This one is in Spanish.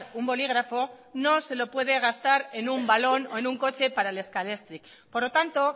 un bolígrafo no se lo puede gastar en un balón o en un coche para el scalextric por lo tanto